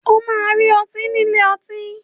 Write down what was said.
O máa rí ọtí nílé ọtí.